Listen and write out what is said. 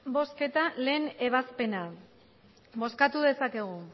bozketa batgarrena ebazpena bozkatu dezakegu